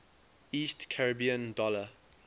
east caribbean dollar